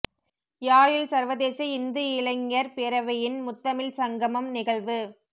யாழில் சர்வதேச இந்து இளைஞர் பேரவையின் முத்தமிழ் சங்கமம் நிகழ்வு